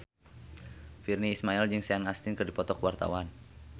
Virnie Ismail jeung Sean Astin keur dipoto ku wartawan